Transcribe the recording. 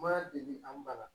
Ma deli an ba la